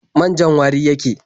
Man-jan wari yake.